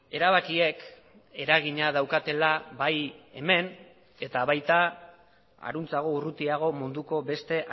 erabakiek eragina daukatela bai hemen eta baita harantzago urrutiago munduko beste